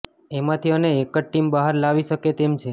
એમાંથી એને એક જ ટીમ બહાર લાવી શકે તેમ છે